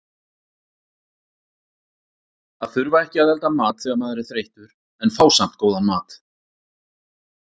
Að þurfa ekki að elda mat þegar maður er þreyttur en fá samt góðan mat.